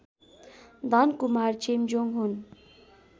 धनकुमार चेम्जोङ हुन्